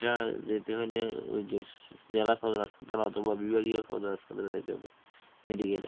এটা যেতে হলে ওই যে জেলা সদর হাসপাতাল বিভাগীয় সদর হাসপাতালে যাইতে হবে Medical এ